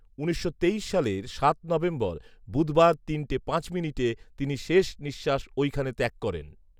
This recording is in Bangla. উনিশশো তেইশ সালের সাত নভেম্বর বুধবার তিনটা পাঁচ মিনিটে তিনি শেষ নিঃশ্বাস ঐখানে ত্যাগ করেন